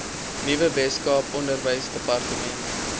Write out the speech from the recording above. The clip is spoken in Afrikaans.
nuwe weskaapse onderwysdepartement